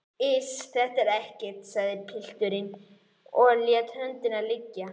Iss, þetta er ekkert, sagði pilturinn og lét höndina liggja.